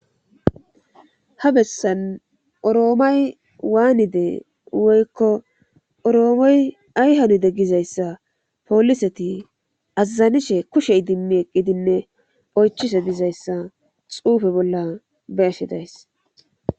Ha bessan oroomay waanide woykko oroomey ay hanide gizayssa poliseti azazanishe kushe idimmi eqqidinne oychise dizayssa xuufe bolla be ashi days